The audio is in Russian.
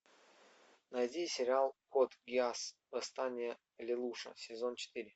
найди сериал код гиас восстание лелуша сезон четыре